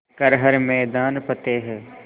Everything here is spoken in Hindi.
कर हर मैदान फ़तेह